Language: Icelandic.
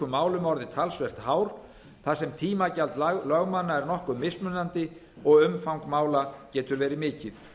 málum orðið talsvert hár þar sem tímagjald lögmanna er nokkuð mismunandi og umfang mála getur verið mikið